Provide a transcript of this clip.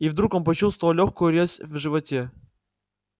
и вдруг он почувствовал лёгкую резь в животе